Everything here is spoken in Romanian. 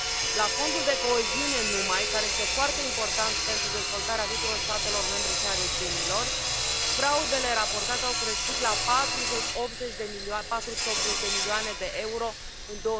La Fondul de coeziune numai, care este foarte important pentru dezvoltarea tuturor statelor membre și a regiunilor, fraudele raportate au crescut la 480 de milioane de euro în